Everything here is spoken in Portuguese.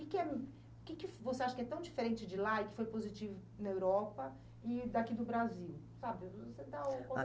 O que que é, o que que você acha que é tão diferente de lá e que foi positivo na Europa e daqui do Brasil? Sabe?, Você da o...